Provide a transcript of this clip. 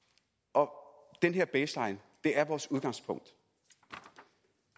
år den her baseline er vores udgangspunkt og